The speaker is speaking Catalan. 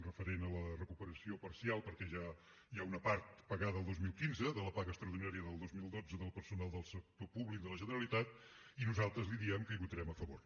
referent a la recuperació parcial perquè ja hi ha una part pagada el dos mil quinze de la paga extraordinària del dos mil dotze del personal del sector públic de la generalitat i nosaltres li diem que hi votarem a favor